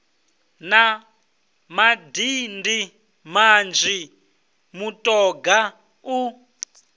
na madindi manzhi mutoga u